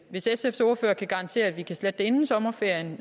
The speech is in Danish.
hvis sfs ordfører kan garantere at det kan slettes inden sommerferien